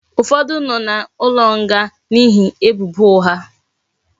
Ufodu no na nga n'ihe ebubo ugha